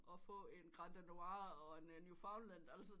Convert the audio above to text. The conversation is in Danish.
At få en granddanois og en newfaulender altså